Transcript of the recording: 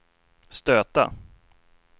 stöta